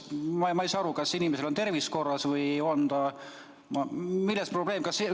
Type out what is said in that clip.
Ma ei saa aru, kas inimesel pole tervis korras või milles on probleem.